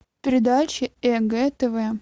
передача егэ тв